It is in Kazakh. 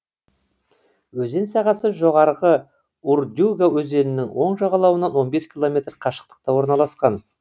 өзен сағасы жоғарғы урдюга өзенінің оң жағалауынан он бес километр қашықтықта орналасқан